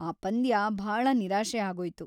ಆ ಪಂದ್ಯ ಭಾಳ ನಿರಾಶೆ ಆಗೋಯ್ತು.